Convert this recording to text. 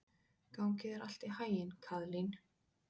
Gangi þér allt í haginn, Kaðlín.